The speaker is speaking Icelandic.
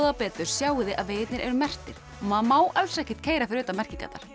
betur sjáið þið að vegirnir eru merktir maður má alls ekkert keyra fyrir utan merkingarnar